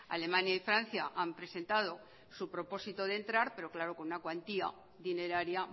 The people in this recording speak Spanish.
alemania y francia han presentado su propósito de entrar pero claro con una cuantía dineraria